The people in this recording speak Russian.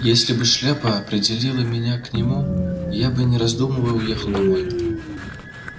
если бы шляпа определила меня к нему я бы не раздумывая уехал домой